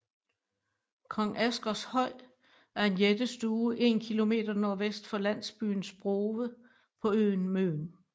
Kong Asgers Høj er en jættestue 1 km nordvest for landsbyen Sprove på øen Møn